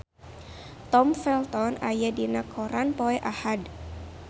Tom Felton aya dina koran poe Ahad